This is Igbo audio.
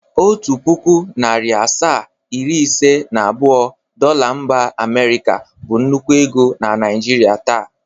Otu pụkụ, narị asaa, iri ise na abụọ Dola mba Amịrịka bụ nnukwu ego na Naịjrịa taa.